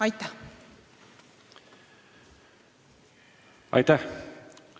Aitäh!